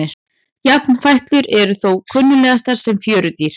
Jafnfætlur eru þó kunnugastar sem fjörudýr.